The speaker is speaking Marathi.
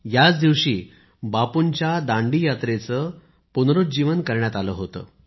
याच दिवशी बापूंच्या दांडी यात्रेचे पुनरुज्जीवन करण्यात आले होते